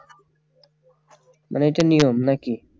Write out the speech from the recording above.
মানে এইটা নিয়ম নাকি